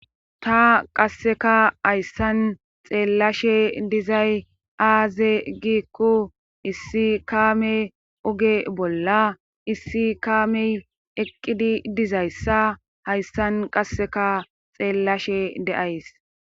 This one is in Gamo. Ta qasseka hayssan xeellashe dizay aaze giikku issi kaame oge bolla issi kaamey eqqidi dizayssa hayssan qasseka xeellashe de7ays